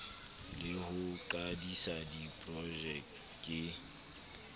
le ho qadisa diprojeke ke